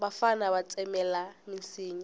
vafana va tsemelela minsinya